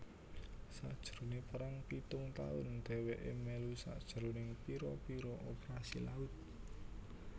Sajrone Perang pitung tahun deweke melu sajrone pira pira operasi laut